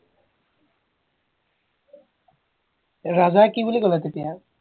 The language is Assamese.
ৰাজাই কি বুলি কলে তেতিয়া